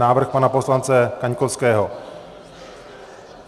Návrh pana poslance Kaňkovského.